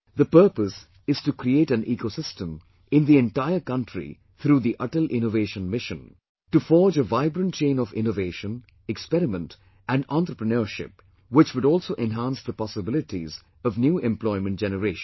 The purpose is to create an ecosystem in the entire country through the Atal Innovation Mission, to forge a vibrant chain of innovation, experiment and entrepreneurship, which would also enhance the possibilities of new employment generation